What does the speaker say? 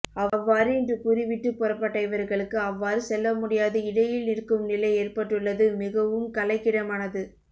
அவ்வாறு இன்று கூறிவிட்டு புறப்பட்ட இவர்களுக்கு அவ்வாறு செல்லமுடியாது இடையில் நிற்கும் நிலை ஏற்பட்டுள்ளது மிகவும் கலைக்கிடமானது